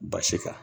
Basi kan